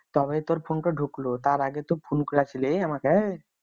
তবেই তো ফোনটো ঢুকলো তার আগে তো ফোন করেছিলিস আমাকে